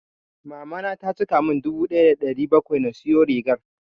Mamana ta cika mun dubu ɗaya da ɗari bakwai na siyo rigar.